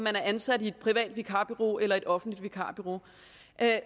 er ansat i et privat vikarbureau eller et offentligt vikarbureau